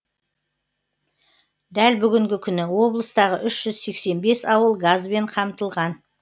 дәл бүгінгі күні облыстағы үш жүз сексен бес ауыл газбен қамтылған